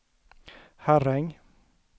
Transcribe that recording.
Herräng